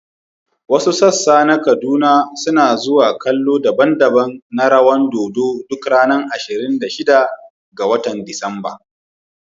Wasu sassa na Kaduna suna zuwa kallon daban-daban rawan dodo duk ranar ashirin da shida ga Disamba.